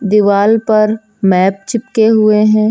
दीवाल पर मैप चिपके हुए हैं।